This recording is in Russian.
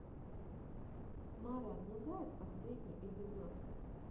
марат нугаев последний эпизод